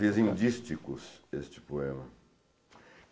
Fiz em dísticos este poema.